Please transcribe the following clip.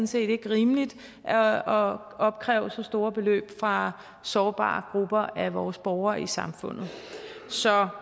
set ikke rimeligt at opkræve så store beløb fra sårbare grupper af vores borgere i samfundet så